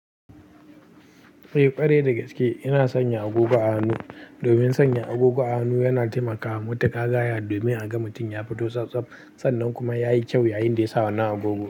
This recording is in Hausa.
Eh ƙware da gaske ina sanya agogo a hannu. Domin sanya agogo a hannu yana taimakawa matuƙa gaya domin a ga mutum ya fito tsaftsaf, sannan kuma yayi kyau yayinda yasa wanna agogo.